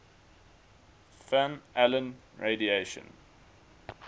van allen radiation